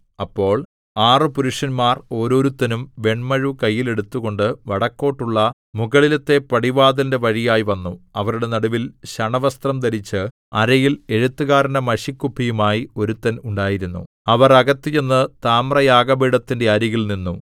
അപ്പോൾ ആറ് പുരുഷന്മാർ ഓരോരുത്തനും വെണ്മഴു കയ്യിൽ എടുത്തുകൊണ്ട് വടക്കോട്ടുള്ള മുകളിലത്തെ പടിവാതിലിന്റെ വഴിയായി വന്നു അവരുടെ നടുവിൽ ശണവസ്ത്രം ധരിച്ച് അരയിൽ എഴുത്തുകാരന്റെ മഷിക്കുപ്പിയുമായി ഒരുത്തൻ ഉണ്ടായിരുന്നു അവർ അകത്ത് ചെന്ന് താമ്രയാഗപീഠത്തിന്റെ അരികിൽ നിന്നു